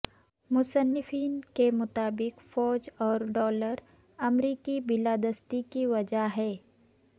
مصنفین کے مطابق فوج اور ڈالر امریکی بالادستی کی وجہ ہیں